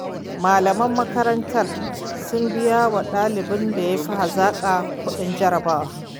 Malaman makarantar sun biyawa ɗalibin da ya fi hazaƙa kuɗin jarabawa.